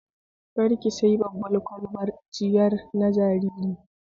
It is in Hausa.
Kar ki sayi babbar ƙwalbar ciyar na jariri